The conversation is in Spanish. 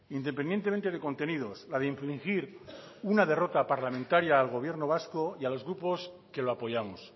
independientemente de contenidos la de infringir una derrota parlamentaria al gobierno vasco y a los grupos que lo apoyamos